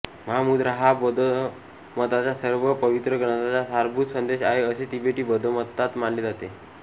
महामुद्रा हा बौद्धमताच्या सर्व पवित्र ग्रंथांचा सारभूत संदेश आहे असे तिबेटी बौद्धमतात मानले जाते